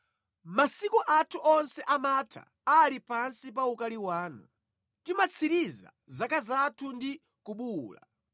Masiku athu onse amatha ali pansi pa ukali wanu; timatsiriza zaka zathu ndi kubuwula.